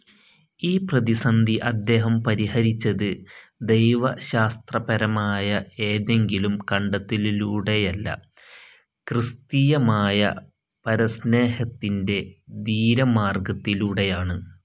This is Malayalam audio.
ഈ പ്രതിസന്ധി അദ്ദേഹം പരിഹരിച്ചത്, ദൈവശാസ്ത്രപരമായ ഏതെങ്കിലും കണ്ടെത്തലിലൂടെയല്ല, ക്രിസ്തീയമായ പരസ്നേഹത്തിന്റെ ധീരമാർഗ്ഗത്തിലൂടെയാണ്....